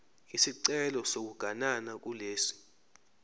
isicelo sokuganana kulesi